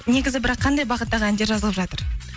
негізі бірақ қандай бағыттағы әндер жазылып жатыр